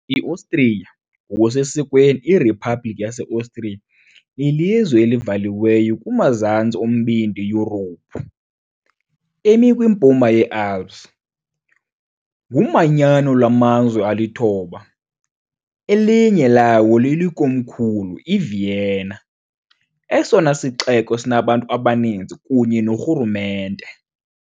IOstriya, ngokusesikweni iRiphabhlikhi yaseOstriya, lilizwe elivaliweyo kumazantsi oMbindi Yurophu, emi kwiMpuma yeAlps . Ngumanyano lwamazwe alithoba, elinye lawo lilikomkhulu, iVienna, esona sixeko sinabantu abaninzi kunye norhulumente.